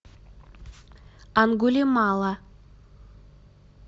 ангулимала